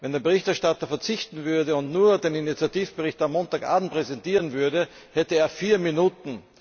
Wenn der Berichterstatter verzichten und nur den Initiativbericht am Montagabend präsentieren würde, hätte er vier Minuten.